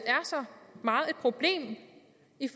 det